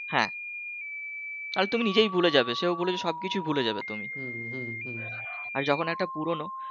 হ্যাঁ আর তুমি নিজেও ভুলে যাবে সেও ভুলে যাবে সবকিছু ভুলে যাবে তো তুমি আর যখন একটা পুরনো